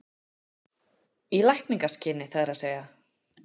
Í lækningaskyni það er að segja?